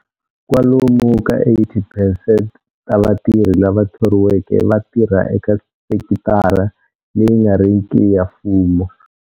Kwalomu ka 80 percent ta vatirhi lava thoriweke va tirha eka sekitara leyi nga riki ya mfumo.